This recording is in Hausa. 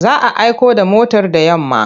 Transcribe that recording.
Za a aiko da motar da yamma.